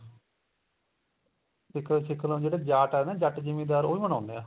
ਸਿੱਖ ਸਿੱਖ ਬੰਦੇ ਜਿਹੜੇ ਜਾਟ ਏ ਨਾ ਜੱਟ ਜਿਮੀਦਾਰ ਉਹ ਵੀ ਮਨਾਉਂਦੇ ਏ